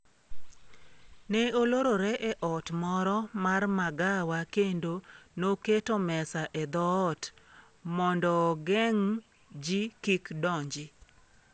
Ne olorore e ot moro mar magawa kendo noketo mesa e dhot mondoogeng' ji kik donji.